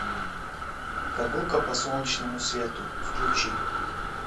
прогулка по солнечному свету включи